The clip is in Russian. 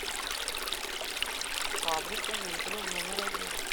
фабрика мебели номер один